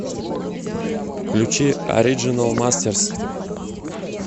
включи ориджинал мастерс